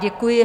Děkuji.